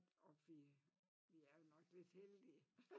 Og vi vi er jo nok lidt heldige